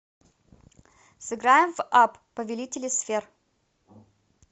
сыграем в апп повелители сфер